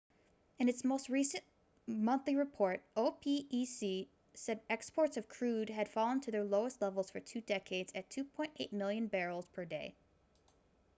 in its most recent monthly report opec said exports of crude had fallen to their lowest level for two decades at 2.8 million barrels per day